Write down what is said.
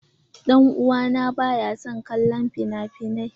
Dan uwa na baya son kallon finafinai.